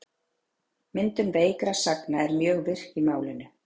Myndun veikra sagna er mjög virk í málinu.